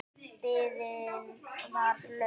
Biðin var löng.